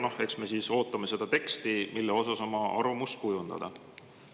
Ja eks me siis ootame seda teksti, mille kohta oma arvamus kujundada.